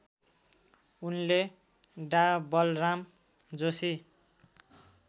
उनले डा बलराम जोशी